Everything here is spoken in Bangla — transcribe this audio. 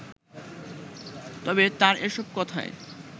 তবে তার এসব কথায়